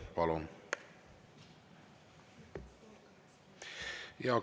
Palun!